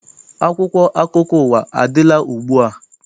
Akwụkwọ akụkọ ụwa adịla ugbua?